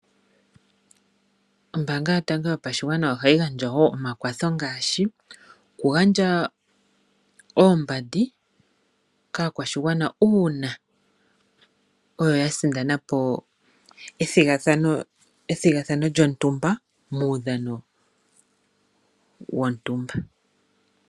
Ombanga yotango yopashigwana ohayi gandja wo omakwatho ngaashi okugandja oombandi kaakwashigwana uuna oyo ya sindanapo ethigathano lyontuma muudhano wontumba.